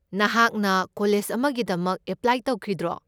ꯅꯍꯥꯛꯅ ꯀꯣꯂꯦꯖ ꯑꯃꯒꯤꯗꯃꯛ ꯑꯦꯄ꯭ꯂꯥꯏ ꯇꯧꯈꯤꯗ꯭ꯔꯣ?